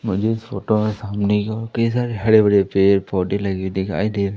मुझे इस फोटो में सामने की ओर कई सारे हरे भरे पेड़ पौधे लगे हुए दिखाई दे--